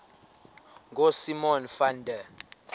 ngosimon van der